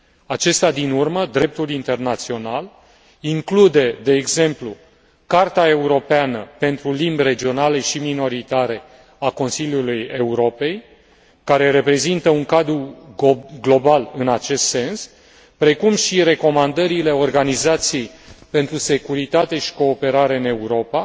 Acesta din urmă, dreptul internațional, include, de exemplu, Carta Europeană pentru Limbi Regionale și Minoritare a Consiliului Europei, care reprezintă un cadru global în acest sens, precum și recomandările Organizației pentru Securitate și Cooperare în Europa,